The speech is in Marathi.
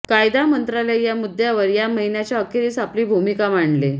कायदा मंत्रालय या मुद्यावर या महिन्याच्या अखेरीस आपली भूमिका मांडले